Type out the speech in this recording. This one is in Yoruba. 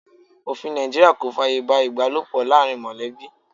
Òfin Nàìjíríà kò fàyè gba ibalopo láàárín molebi.